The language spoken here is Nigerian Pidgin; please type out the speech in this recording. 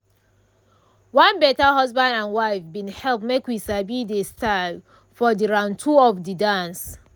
one better husband and wife bin help make we sabi de style for de round two of de dance.